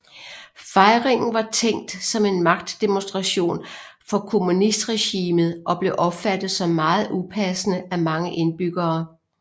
Fejringen var tænkt som en magtdemonstration fra kommunistregimet og blev opfattet som meget upassende af mange indbyggere